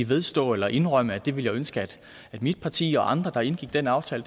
vedstå eller indrømme at det ville jeg ønske at mit parti og andre der indgik den aftale